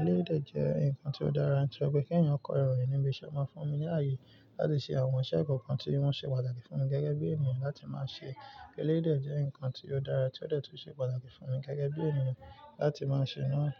Eléyìí jẹ́ nǹkan tí ó dára tí ó ṣe pé kí ẹ̀yàn kọ ẹrọ ìníbi iṣẹ́ máa fún mi láàyè láti ṣe àwọn iṣẹ́ kọ̀ọ̀kan tí wọ́n ṣe pàtàkì fún mi gẹ́gẹ́ bí ènìyàn láti máa ṣe. Eléyìí jẹ́ nǹkan tí ó dára tí ó ti wà tí ó ṣe pàtàkì fún mi gẹ́gẹ́ bí ènìyàn láti máa ṣe náà.